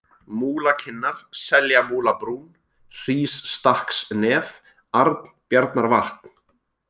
Múlakinnar, Seljamúlabrún, Hrísstakksnef, Arnbjarnarvatn